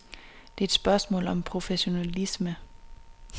Det er et spørgsmål om professionalisme.